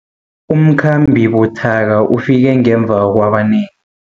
Umkhambi buthaka ufike ngemva kwabanengi.